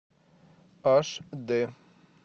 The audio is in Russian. аш д